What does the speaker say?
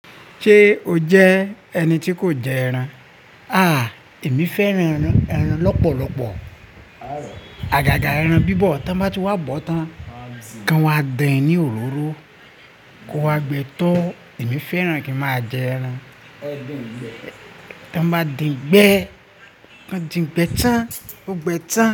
Ṣé o jẹ́ ẹni tí kò jẹ ẹran? À, èmi fẹ́ran ẹran lọ́pọ̀lọpọ̀. Àgàgà ẹran bíbọ̀ tí wọ́n bá ti wá bọ́ tán, ko wọ́n má dín ní òróró, kó wá gbe tó. Èmi fẹ́ran kí máa jẹ ẹran. Tí wọ́n bá dín gbẹ, kan dín gbẹ tán, kó gbẹ tán.